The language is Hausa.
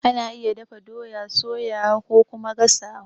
Ana iya dafa doya, soyawa kokuma gasawa.